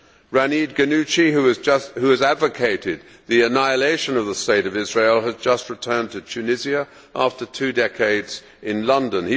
Rachid Ghannouchi, who has advocated the annihilation of the state of Israel, has just returned to Tunisia after two decades in London.